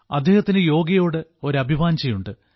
അദ്ദേഹത്തിന് യോഗയോട് ഒരു അഭിവാഞ്ജയുണ്ട്